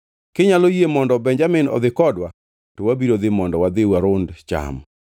Kinyalo yie mondo Benjamin odhi kodwa, to wabiro dhi mondo wadhi warund cham.